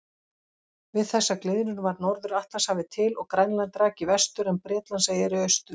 Við þessa gliðnun varð Norður-Atlantshafið til og Grænland rak í vestur en Bretlandseyjar í austur.